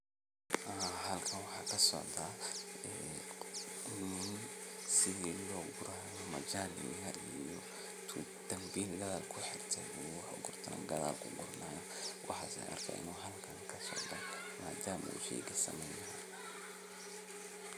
Haa halkan waxaa kasocda ishii loogurayo majani yar oo intu dambiil gadhaal kuxirte uu wuxu gurto neh gadhaal kuguranaya waxas aya arkeyno halkan kasocdo madama u sheyga sameynhayo.